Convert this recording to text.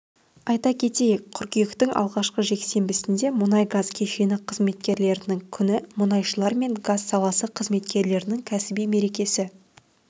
айта кетейік қыркүйектің алғашқы жексенбісінде мұнай-газ кешені қызметкерлерінің күні мұнайшылар мен газ саласы қызметкерлерінің кәсіби мерекесі